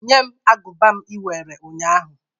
Nye m agụba m iwere nnya ahụ!